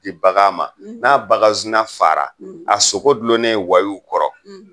Di bagan ma ,n'a bakan zina fara a sogo gulonnen wayiw kɔrɔ